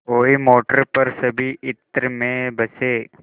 कोई मोटर पर सभी इत्र में बसे